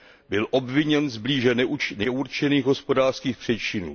Byl obviněn z blíže neurčených hospodářských přečinů.